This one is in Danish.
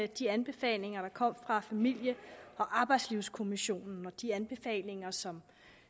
de anbefalinger der kom fra familie og arbejdslivskommissionen og de anbefalinger som